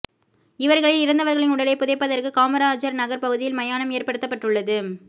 இவர்களில் இறந்தவர்களின் உடலை புதைப்பதற்கு காமராஜர் நகர் பகுதியில் மயானம் ஏற்படுத்தப்பட்டுள்ளது